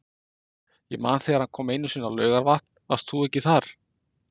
Ég man þegar hann kom einu sinni á Laugarvatn, varst þú ekki þar?